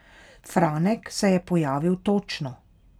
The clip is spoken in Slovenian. Franek se je pojavil točno.